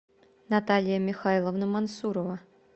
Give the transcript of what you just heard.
наталья михайловна мансурова